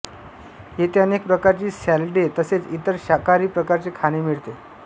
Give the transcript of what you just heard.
येथे अनेक प्रकारची सॅलडे तसेच इतर शाकाहारी प्रकारचे खाणे मिळते